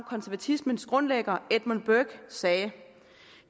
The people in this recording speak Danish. konservatismens grundlægger edmund burke sagde